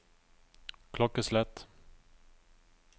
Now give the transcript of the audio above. klokkeslett